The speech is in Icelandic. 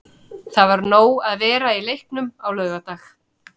Það var nóg um að vera í leiknum á laugardag.